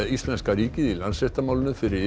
íslenska ríkið í Landsréttarmálinu fyrir